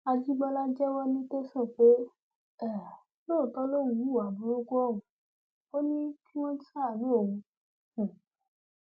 àjìbọlá jẹwọ ní tẹsán pé um lóòótọ lòun hùwà burúkú ọhún ò ní kí wọn ṣàánú òun um